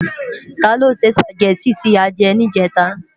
Tá ló sè Súpágèti ti á jè nijètá?